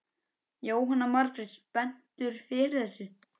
Jóhanna Margrét: Spenntur fyrir þessu?